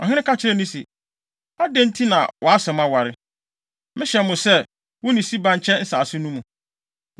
Ɔhene ka kyerɛɛ no se, “Adɛn nti na wʼasɛm aware? Mehyɛ mo sɛ, wo ne Siba nkyɛ nsase no mu.”